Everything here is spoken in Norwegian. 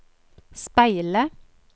speile